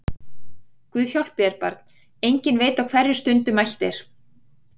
Guð hjálpi þér barn, enginn veit á hverri stundu mælt er!